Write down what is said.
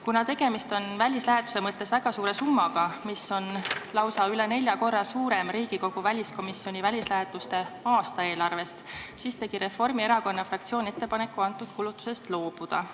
Kuna tegemist on välislähetuse mõttes väga suure summaga, mis on lausa üle nelja korra suurem Riigikogu väliskomisjoni välislähetuste aastaeelarvest, siis tegi Reformierakonna fraktsioon ettepaneku sellest kulutusest loobuda.